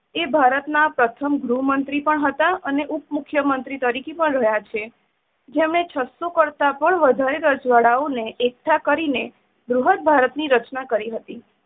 એ ભારત ના પ્રથમ ગૃહમંત્રી પણ હતા અને ઉપમુખ્યમંત્રી તરીકે પણ રહ્યા છે. જેમણે છસો કરતા પણ વધારે રજવાડા ને એકઠા કરી ને બૃહદ ભારત ની રચના કરી હાતી.